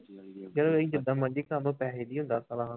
ਜਦੋਂ ਜਿੱਦਾਂ ਮਰਜ਼ੀ ਕਰ ਲਓ ਪੈਸੇ ਨੀ ਦਿੰਦਾ ਸਾਲਾ